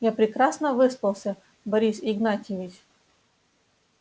я прекрасно выспался борис игнатьевич